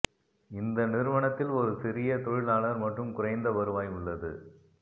இந்த நிறுவனத்தில் ஒரு சிறிய தொழிலாளர் மற்றும் குறைந்த வருவாய் உள்ளது